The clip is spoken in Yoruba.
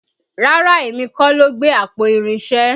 Rárá èmi kọ́ ló gbé àpò irinṣẹ́